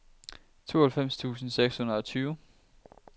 tooghalvfems tusind seks hundrede og tyve